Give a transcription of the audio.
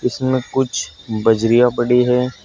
इसमें कुछ बजरिया पड़ी है।